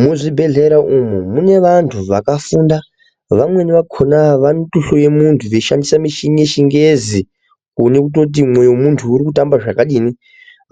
Muzvi bhehlera umu mune vandu vakafunda vamweni vakona vanoto hloya mundu veishandise muchini yechi ngezi kuone kuti mwoyo wemundu uri kutamba zvakadini